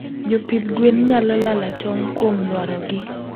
jopidh gwn nyalo lala tong kuom lwaro gi